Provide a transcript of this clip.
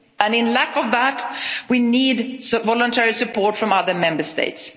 system. In lack of that, we need voluntary support from other Member